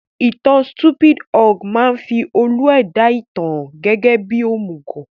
Ìtan Stupid Ogre máa fi olú-ẹ̀dá ìtàn hàn gẹ́gẹ́ bí òmùgọ̀